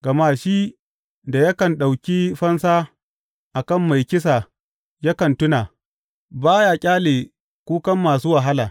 Gama shi da yakan ɗauki fansa a kan mai kisa yakan tuna; ba ya ƙyale kukan masu wahala.